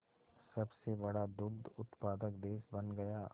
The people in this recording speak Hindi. सबसे बड़ा दुग्ध उत्पादक देश बन गया